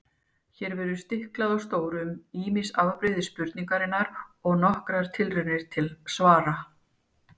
Hér verður stiklað á stóru um ýmis afbrigði spurningarinnar og nokkrar tilraunir til svara.